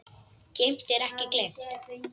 Geymt en ekki gleymt